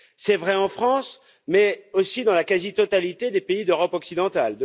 C'est vrai en France mais aussi dans la quasi totalité des pays d'Europe occidentale.